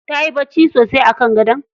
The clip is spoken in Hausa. Tayi bacci sosai a kan gadon?